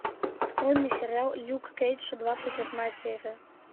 открой мне сериал люк кейдж двадцать восьмая серия